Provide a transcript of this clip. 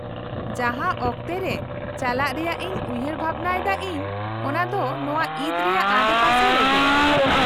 -ᱡᱟᱦᱟᱸ ᱚᱠᱛᱮ ᱨᱮ ᱪᱟᱞᱟᱜ ᱨᱮᱭᱟᱜ ᱤᱧ ᱩᱭᱦᱟᱹᱨ ᱵᱷᱟᱵᱱᱟᱭᱮᱫᱟ ᱤᱧ ᱚᱱᱟ ᱫᱚ ᱱᱚᱶᱟ ᱤᱫ ᱨᱮᱭᱟᱜ ᱟᱰᱮᱯᱟᱥᱮ ᱨᱮᱜᱮ ᱾